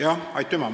Aitäh!